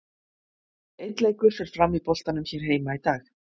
Einn leikur fer fram í boltanum hér heima í dag.